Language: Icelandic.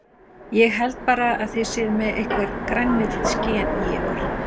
Ég held bara að þið séuð með einhver grænmetisgen í ykkur.